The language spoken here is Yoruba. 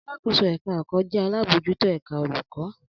Alakoso-èka-èkò jẹ́ alábòójútó ẹ̀ka olùkọ́.